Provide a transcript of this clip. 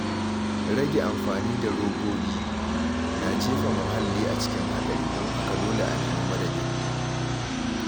Rage amfani da robobi na jefa muhalli cikin haɗari, don haka dole a nemi madadin.